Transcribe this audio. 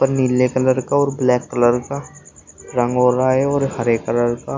पर नीले कलर का और ब्लैक कलर का रंग हो रहा है और हरे कलर का --